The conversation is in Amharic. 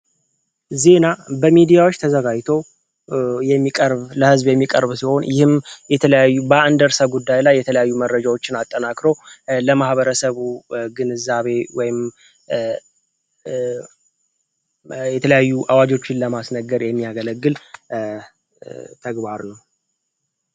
ዚህ ና በሜዲያዎች ተዘጋይቶ ሚለህዝብ የሚቀርቡ ሲሆን ይህም በአንደእርሰ ጉዳይ ላይ የተለያዩ መድረጃዎችን አጠናክሮ ለማህበረሰቡ ግንዛቤ የተለያዩ አዋጆችን ለማስነገር የሚያገለግል ተግባር ነው።